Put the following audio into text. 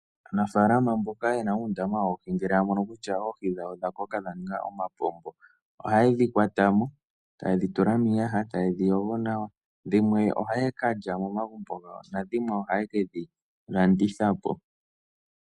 Aanafalama mboka yena uundama woohi ngele ya mono kutya oohi dhawo odha koka dha ninga omapombo. Ohayedhi kwata mo taye dhi tula miiyaha eta yedhi yogo nawa. Dhimwe oha kalya momagumbo gawo nadhimwe ohaa kedhi landitha po.